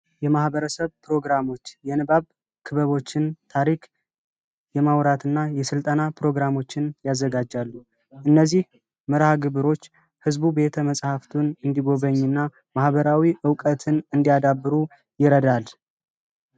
የማህበረሰብ ፕሮግራሞች የንባብ ፕሮግራሞችን ታሪክ የማውራት እና የስልጠና ፕሮግራሞችን ያደርጋሉ። እነዚህ መርሐ ግብሮች ህዝቡ ቤተመጻሕፍቱን እንዲጎበኝ እና ማህበራዊ እውቀትን እንዲያዳብሩ ይረዳናል።